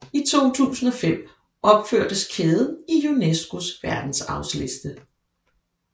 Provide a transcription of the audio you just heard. I 2005 opførtes kæden i UNESCOs Verdensarvsliste